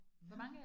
Ja